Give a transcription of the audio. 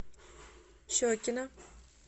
щекино